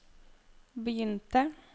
begynte